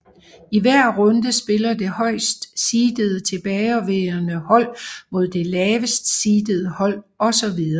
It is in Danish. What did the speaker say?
I hver runde spiller det højst seedede tilbageværende hold mod det laveste seedede hold osv